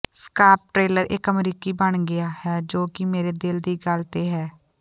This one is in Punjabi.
ਸਕਾਰਪ ਟ੍ਰੇਲਰ ਇਕ ਅਮਰੀਕੀ ਬਣ ਗਿਆ ਹੈ ਜੋ ਕਿ ਮੇਰੇ ਦਿਲ ਦੀ ਗੱਲ ਤੇ ਹੈ